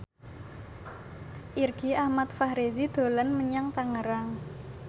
Irgi Ahmad Fahrezi dolan menyang Tangerang